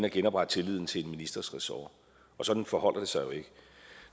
at genoprette tilliden til en ministers ressort sådan forholder det sig jo ikke